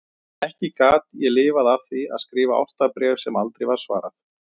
En ekki gat ég lifað af því að skrifa ástarbréf sem aldrei var svarað.